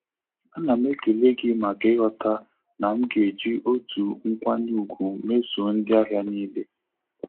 A na m ekele gị maka ighọta na m ga-eji otu nkwanye ùgwù mesọ ndị ahịa niile.